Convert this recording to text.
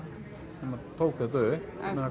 sem að tók þetta upp en það